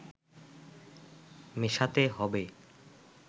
মেশাতে হবে